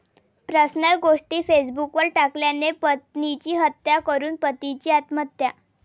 personal गोष्टी फेसबुकवर टाकल्याने पत्नीची हत्या करून पतीची आत्महत्या